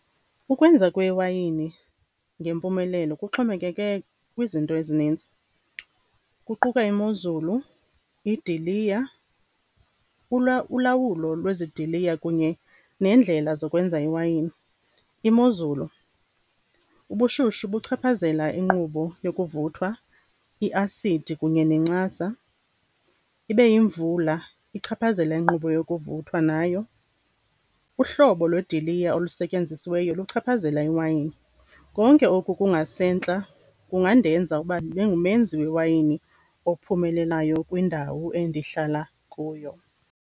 Ukwenza kwewayini ngempumelelo kuxhomekeke kwizinto ezinintsi, kuquka imozulu, iidiliya, ulawulo lwezidiliya kunye neendlela zokwenza iwayini. Imozulu, ubushushu buchaphazela inkqubo yokuvuthwa, i-acid kunye nencasa. Ibe yimvula, ichaphazela inkqubo yokuvuthwa nayo. Uhlobo lweediliya olusetyenzisiweyo luchaphazela iwayini. Konke oku kungasentla kungandenza uba ndibengumenzi wewayini ophumelelayo kwindawo endihlala kuyo.